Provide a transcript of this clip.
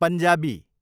Punjabi